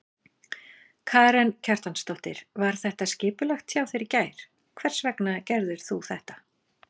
Karen Kjartansdóttir: Var þetta skipulagt hjá þér í gær, hvers vegna gerðirðu þetta?